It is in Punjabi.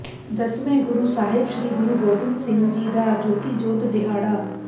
ਦਸਵੇਂ ਗੁਰੂ ਸਾਹਿਬ ਸ੍ਰੀ ਗੁਰੂ ਗੋਬਿੰਦ ਸਿੰਘ ਜੀ ਦਾ ਜੋਤੀ ਜੋਤ ਦਿਹਾੜਾ